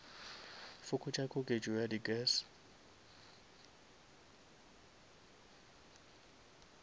fokotša koketšo ya di gas